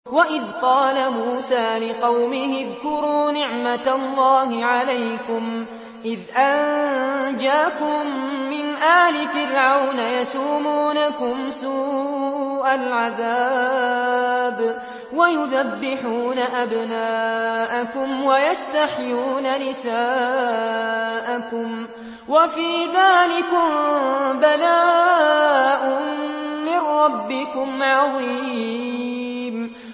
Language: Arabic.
وَإِذْ قَالَ مُوسَىٰ لِقَوْمِهِ اذْكُرُوا نِعْمَةَ اللَّهِ عَلَيْكُمْ إِذْ أَنجَاكُم مِّنْ آلِ فِرْعَوْنَ يَسُومُونَكُمْ سُوءَ الْعَذَابِ وَيُذَبِّحُونَ أَبْنَاءَكُمْ وَيَسْتَحْيُونَ نِسَاءَكُمْ ۚ وَفِي ذَٰلِكُم بَلَاءٌ مِّن رَّبِّكُمْ عَظِيمٌ